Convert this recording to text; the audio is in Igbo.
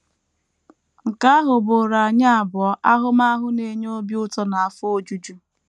Nke ahụ bụụrụ anyị abụọ ahụmahụ na - enye obi ụtọ na afọ ojuju.